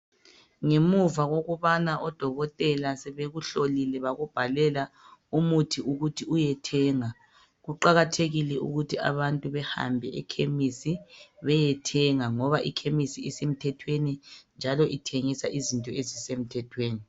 Ngemuva kokubana odokotela sebekuhlolile , bakubhalela umuthi ukuthi uyethenga. Kuqakathekile ukuthi abantu behambe ekhemisi beyethenga. Ngoba ikhemisi isemthethweni njalo ithengisa izinto ezisemthethweni.